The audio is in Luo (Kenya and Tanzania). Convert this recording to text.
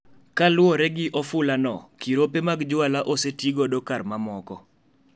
Kaluwore gi ofulano, kirope mag juala ostigo kar ma moko.